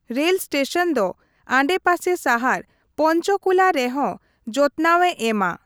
ᱨᱮᱞᱥᱴᱮᱥᱚᱱ ᱫᱚ ᱟᱰᱮᱯᱟᱥᱮ ᱥᱟᱦᱟᱨ ᱯᱚᱧᱪᱚᱠᱩᱞᱟ ᱨᱮᱦᱚᱸ ᱡᱚᱛᱱᱟᱣᱮ ᱮᱢᱟ ᱾